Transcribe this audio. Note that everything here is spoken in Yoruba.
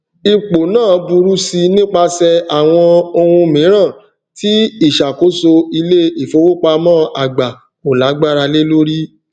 ipò náà burú si nípasẹ àwọn ohun mìíràn tí ìṣàkóso iléìfowópamọ àgbà kò lágbára lé lórí